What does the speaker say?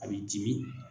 A b'i dimi